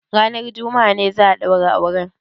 Ranar juma'a ne za a ɗaura auren?